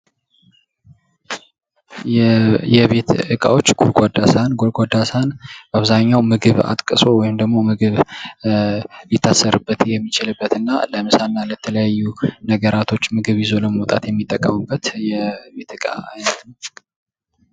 የቤት እቃዎች ጎድጓዳ ሳህን ጎድጓዳ ሳህን ምግብ አጥቅሶ ወይም ደግሞ ምግብ ሊታሰርበት የሚችልበት እና ለምሳ እና ለተለያዩ ነገራቶች ምግብ ይዞ ለመውጣት የሚጠቀሙበት የቤት እቃ አይነት ነው።